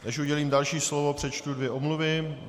Než udělím další slovo, přečtu dvě omluvy.